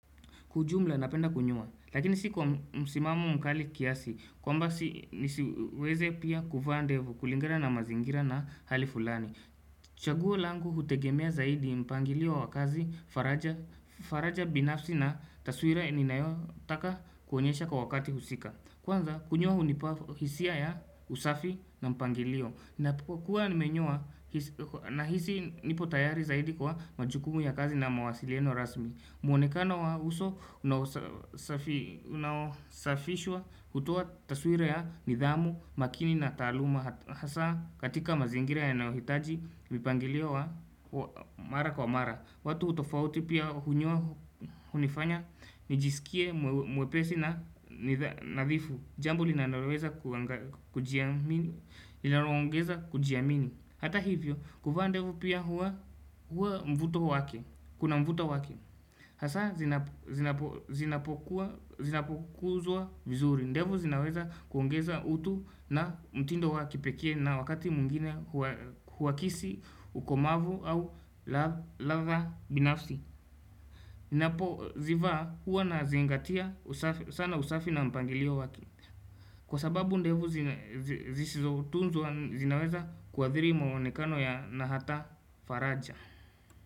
Kwa ujumla napenda kunyoa, lakini si kwa msimamo mkali kiasi, kwamba si nisiweze pia kuvaa ndevu kulingana na mazingira na hali fulani. Chaguo langu hutegemea zaidi mpangilio wa kazi, faraja binafsi na taswira inayotaka kuonyesha kwa wakati husika. Kwanza kunyoa hunipa hisia ya usafi na mpangilio, ninapokuwa nimenyoa na hisi nipo tayari zaidi kwa majukumu ya kazi na mawasiliano rasmi. Mwonekano wa uso unaosafishwa hutoa taswira ya nidhamu, makini na taaluma hasa katika mazingira yanaohitaji mipangilio wa mara kwa mara. Watu tofauti pia hunyoa hunifanya nijisikie mwepesi na nadhifu. Jambo linaloweza kujiamini, linaloongeza kujiamini. Hata hivyo, kuvaa ndevu pia huwa mvuto wake, kuna mvuto wake. Hasa zinapokuwa zinapokuzwa vizuri. Ndevu zinaweza kuongeza utu na mtindo wa kipekee na wakati mwingine huakisi, ukomavu au ladha binafsi. Ndevu ninapo zivaa huwa na zingatia sana usafi na mpangilio wake. Kwa sababu ndevu zisizo tunzwa zinaweza kuadhiri mwonekano ya na hata faraja.